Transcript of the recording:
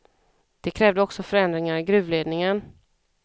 De krävde också förändringar i gruvledningen.